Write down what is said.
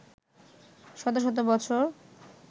শত শত বছর